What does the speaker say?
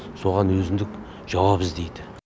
соған өзіндік жауап іздейді